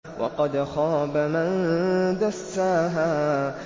وَقَدْ خَابَ مَن دَسَّاهَا